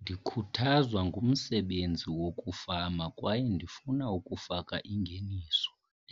Ndikhuthazwa ngumsebenzi wokufama kwaye ndifuna ukufaka ingeniso